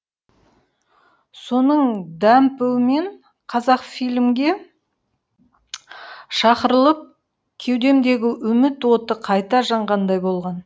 соның дәмпуімен қазақфильмге шақырылып кеудемдегі үміт оты қайта жанғандай болған